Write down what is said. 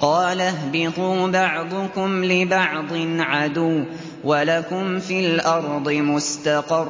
قَالَ اهْبِطُوا بَعْضُكُمْ لِبَعْضٍ عَدُوٌّ ۖ وَلَكُمْ فِي الْأَرْضِ مُسْتَقَرٌّ